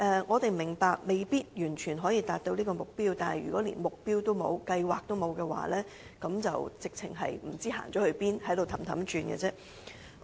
我們明白目標未必可以完全達到，但如果連目標和計劃也欠缺，便會不知方向，原地踏步。